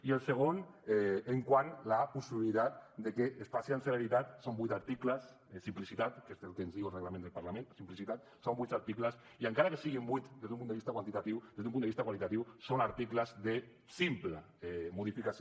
i el segon quant a la possibilitat de que es faci amb celeritat són vuit articles és simplicitat que és el que ens diu el reglament del parlament simplicitat i encara que siguin vuit des d’un punt de vista quantitatiu des d’un punt de vista qualitatiu són articles de simple modificació